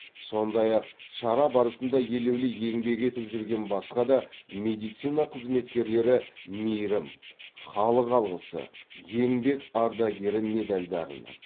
сондай ақ шара барысында елеулі еңбек етіп жүрген басқа да медицина қызметкерлері мейірім халық алғысы еңбек ардагері медальдарына